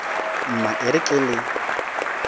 mma e re ke le